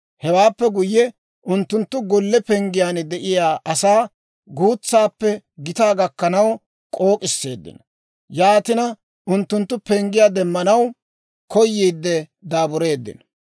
Hewaappe guyye, unttunttu golle penggiyaan de'iyaa asaa, guutsaappe gitaa gakkanaw k'ook'isseeddino. Yaatina unttunttu penggiyaa demmanaw koyiide daabureeddino.